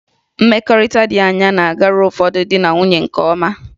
Mmekọrịta dị anya na-agara ụfọdụ di na nwunye nke ọma